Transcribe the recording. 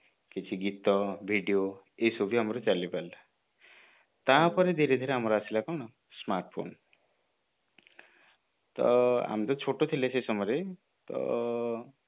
କିଛି ଗୀତ video ଏସବୁ ବି ଆମର ଚାଲି ପାରିଲା ତାପରେ ଧୀରେ ଧୀରେ ଆମର ଆସିଲା କଣ smartphone ତ ଆମେ ତ ଛୋଟ ଥିଲେ ସେ ସମୟରେ ତ